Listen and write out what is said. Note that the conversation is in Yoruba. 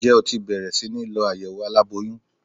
Ǹjẹ́ o ti bẹ̀rẹ̀ síní lọ àyẹ̀wò aláboyún?